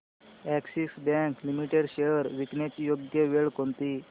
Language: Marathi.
अॅक्सिस बँक लिमिटेड शेअर्स विकण्याची योग्य वेळ कोणती